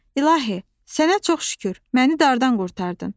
İlahi, sənə çox şükür, məni dardan qurtardın.